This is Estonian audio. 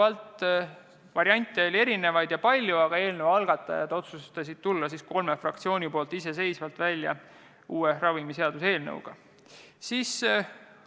Taas, variante oli mitmesuguseid, aga eelnõu algatajad otsustasid kolme fraktsiooni nimel tulla uue ravimiseaduse eelnõuga välja iseseisvalt.